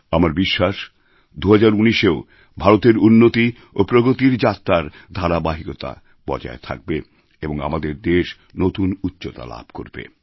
আমার বিশ্বাস ২০১৯এও ভারতের উন্নতি ও প্রগতির যাত্রার ধারাবাহিকতা বজায় থাকবে এবং আমাদের দেশ নতুন উচ্চতা লাভ করবে